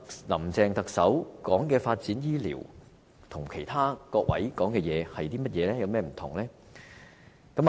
林鄭特首提出的發展醫療建議，跟各位議員提出的建議有甚麼分別呢？